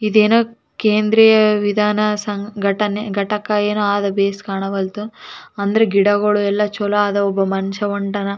ಅವನು ಕಪ್ಪು ಬಣ್ಣದ ಶೂ ಹಾಕಿಕೊಂಡಿದ್ದಾನೆ.